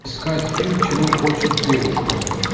искать фильм чего хочет девушка